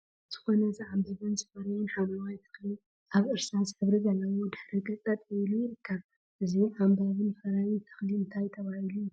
ዝኮነ ዝዓምበበን ዝፈረየን ሓምለዋይ ተክሊ አብ እርሳስ ሕብሪ ዘለዎ ድሕረ ገፅ ጠጠወ ኢሉ ይርከብ፡፡ እዚ ዓምባቢን ፈራይን ተክሊ እንታይ ተባሂሉ ይፍለጥ?